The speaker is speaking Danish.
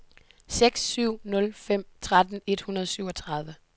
seks syv nul fem tretten et hundrede og syvogtredive